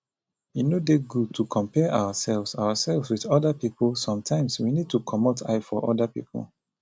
e no dey good to compare ourselves ourselves with oda pipo sometimes we need to comot eye for oda pipo